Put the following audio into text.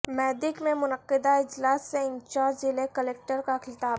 میدک میں منعقدہ اجلاس سے انچارج ضلع کلکٹر کا خطاب